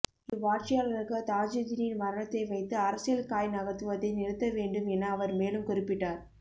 இவ்வாட்சியாளர்கள் தாஜூதீனின் மரணத்தை வைத்து அரசியல் காய் நகர்த்துவதை நிறுத்த வேண்டும் என அவர்மேலும் குறிப்பிட்டார்